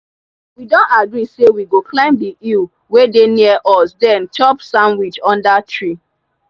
we don agree say we go climb the hill wey dey near us then chop sandwich under tree.